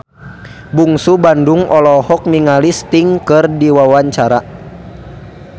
Bungsu Bandung olohok ningali Sting keur diwawancara